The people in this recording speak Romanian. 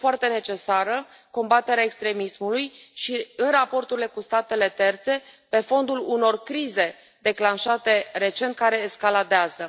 Este foarte necesară combaterea extremismului și în raporturile cu statele terțe pe fondul unor crize declanșate recent care escaladează.